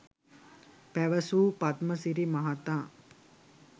පැවසූ පද්මසිරි මහතා